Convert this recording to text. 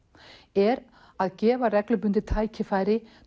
er að gefa reglubundið tækifæri